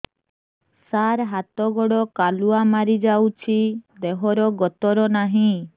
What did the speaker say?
ସାର ହାତ ଗୋଡ଼ କାଲୁଆ ମାରି ଯାଉଛି ଦେହର ଗତର ନାହିଁ